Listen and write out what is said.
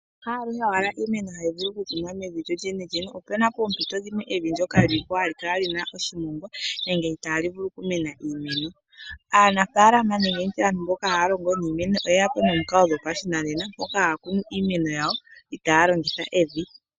Haaluhe owala iimeno hayi vulu oku kunwa mevi lyo lyenelyene, opuna ngaa oompito dhimwe evi ndyoka li li po ha li kala li na oshimongwa, nenge itaa li vulu oku mena iimeno. Aanafaalama nenge nditye aantu mboka haya longo niimeno oyeya po nomikalo dhopa shinanena, mpoka haya kunu iimeno yawo itaya longitha evi.